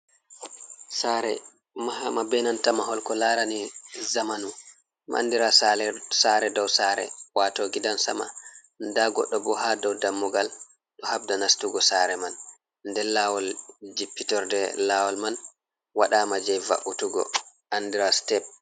Sare mahama be nanta mahol ko larani zamanu, andira sare dow sare wato gidansama, nda goɗɗo bo ha dow dammugal ɗo habda nastugo sare man, nder lawol jippitorde lawol man waɗama je va’utugo andira step.